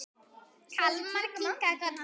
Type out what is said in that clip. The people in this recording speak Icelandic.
Kalman kinkaði kolli.